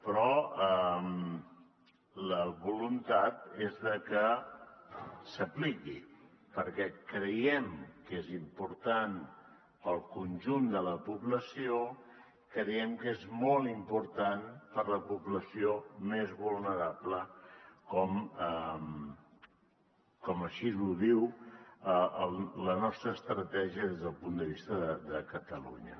però la voluntat és que s’apliqui perquè creiem que és important per al conjunt de la població creiem que és molt important per a la població més vulnerable com així ho diu la nostra estratègia des del punt de vista de catalunya